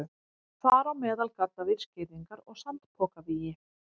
Þar á meðal gaddavírsgirðingar og sandpokavígi.